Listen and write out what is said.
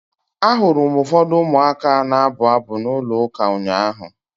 Ahụrụ m ụfọdụ ụmụaka na-abụ abụ na ụlọ ụka ụnyaahụ.